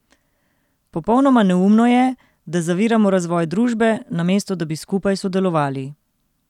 Popolnoma neumno je, da zaviramo razvoj družbe, namesto da bi skupaj sodelovali.